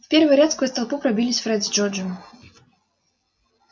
в первый ряд сквозь толпу пробились фред с джорджем